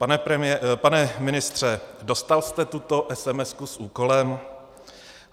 Pane ministře, dostal jste tuto esemesku s úkolem?